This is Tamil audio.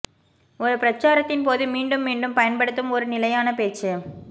ஒரு பிரச்சாரத்தின் போது மீண்டும் மீண்டும் பயன்படுத்தும் ஒரு நிலையான பேச்சு